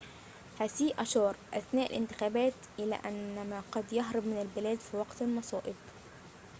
هسيه أشار أثناء الانتخابات إلى أن ما قد يهرب من البلاد في وقت المصائب